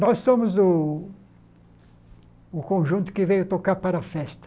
Nós somos o o conjunto que veio tocar para a festa.